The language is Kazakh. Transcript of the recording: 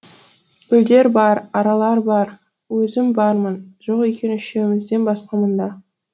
гүлдер бар аралар бар өзім бармын жоқ екен үшеумізден басқа мұнда